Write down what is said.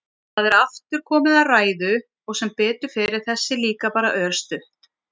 Það er aftur komið að ræðu og sem betur fer er þessi líka bara örstutt.